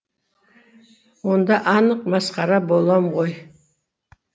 онда анық масқара болам ғой